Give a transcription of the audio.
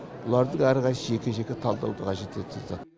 бұлардың әрқайсысы жеке жеке талдауды қажет етеді